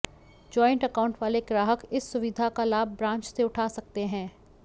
joint account वाले ग्राहक इस सुविधा का लाभ ब्रांच से उठा सकते हैं